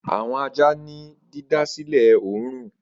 Awọn aja ni didasilẹ õrùn.